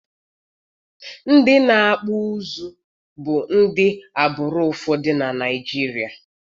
Ndị na-akpụ ụzụ bu ndị agbụrụ ụfọdụ na Naijiria